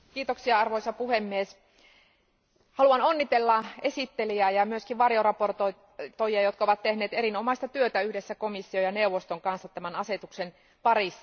Arvoisa puhemies, haluan onnitella esittelijää ja myös varjoesittelijöitä, jotka ovat tehneet erinomaista työtä yhdessä komission ja neuvoston kanssa tämän asetuksen parissa.